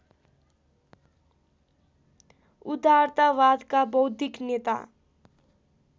उदारतावादका बौद्धिक नेता